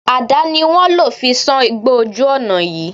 Àdà ni wọ́n lò fi sán igbó ojú ọ̀nà yìí